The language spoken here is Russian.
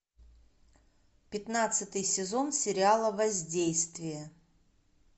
пятнадцатый сезон сериала воздействие